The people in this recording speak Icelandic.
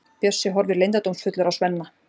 Bjössi horfir leyndardómsfullur á Svenna.